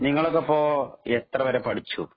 നിങ്ങളൊക്കെ ഇപ്പൊ എത്രവരെ പഠിച്ചു.